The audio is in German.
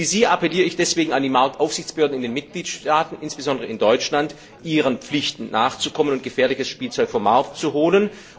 Wie Sie appelliere ich deswegen an die Marktaufsichtsbehörden in den Mitgliedstaaten, insbesondere in Deutschland, ihren Pflichten nachzukommen und gefährliches Spielzeug vom Markt zu nehmen.